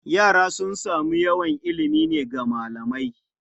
Yara sun samu yawan ilimi ne daga malamai.